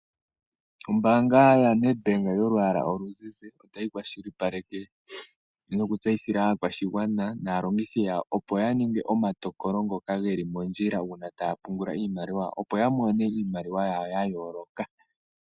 Ombaanga yaNedbank yolwaala oluzizi otayi kwashilipaleke nokutseyithila aakwashigwana naalongithi yawo, opo ya ninge omatokolo ngoka ge li mondjila uuna taya pungula iimaliwa yawo, opo ya mone iimaliwa yawo ya yooloka.